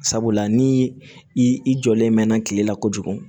Sabula ni i jɔlen mɛnna kile la kojugu